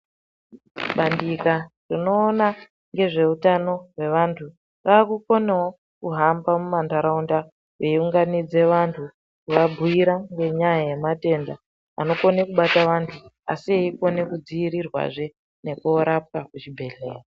Bandika rinoona ngezveutano hwevantu, rakukonewo kuhamba mumantaraunda reiunganidze vantu kuvabhuyira ngenyaya yematenda anokone kubata vantu asi eyikone kudzivirirwazve nekorapwa kuzvibhedhlera.